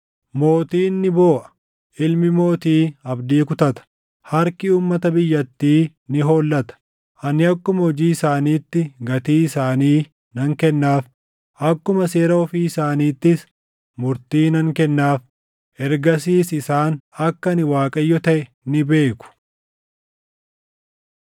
Mootiin ni booʼa; ilmi mootii abdii kutata; harki uummata biyyattii ni hollata. Ani akkuma hojii isaaniitti gatii isaanii nan kennaaf; akkuma seera ofii isaaniittis murtii nan kennaaf. “ ‘Ergasiis isaan akka ani Waaqayyo taʼe ni beeku.’ ”